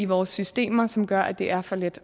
vores systemer som gør at det er for let